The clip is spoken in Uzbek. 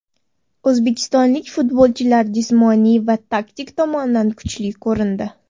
O‘zbekistonlik futbolchilar jismoniy va taktik tomondan kuchli ko‘rindi.